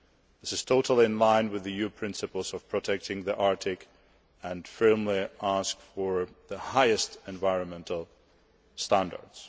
This is totally in line with the EU principles of protecting the Arctic and firmly asking for the highest environmental standards.